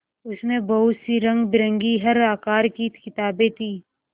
उसमें बहुत सी रंगबिरंगी हर आकार की किताबें थीं